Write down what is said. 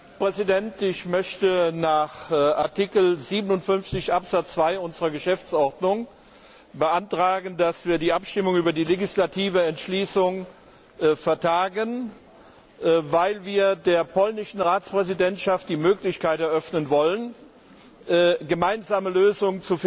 Herr Präsident! Ich möchte nach Artikel 57 Absatz 2 unserer Geschäftsordnung beantragen, dass wir die Abstimmung über die legislative Entschließung vertagen, weil wir der polnischen Ratspräsidentschaft die Möglichkeit eröffnen wollen, in erster Lesung eine gemeinsame Lösung